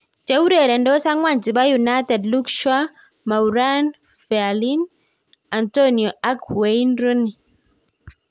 Cheureretos akwang chepo united luke shaw ,marauane fellaini, Antonio ak wayne Rooney.